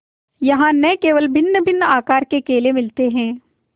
यहाँ न केवल भिन्नभिन्न आकार के केले मिलते हैं